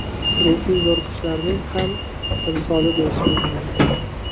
ruhiy zo‘riqishlarning ham timsoli deyishimiz mumkin.